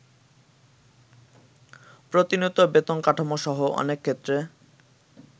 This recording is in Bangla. প্রতিনিয়ত বেতন কাঠামো সহ অনেকক্ষেত্রে